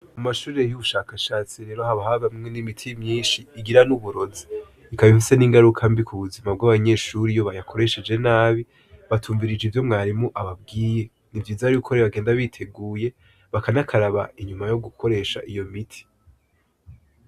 Mu mashurire y'ubushakashatsi rero habaharimwo n'imiti myinshi igira n'uburozi ikabimfise n'ingaruka mbi ku buzima bw'abanyeshuri iyo bayakoresheje nabi batumvirije ivyo mwarimu ababwiye ni vyizariukoree bagenda biteguye bakanakaraba inyuma yo gukoresha iyo miti.